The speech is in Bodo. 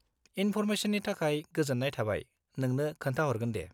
इनफ'र्मेसननि थाखाय गोजोन्नाय थाबाय, नोंनो खोन्था हरगोन दे।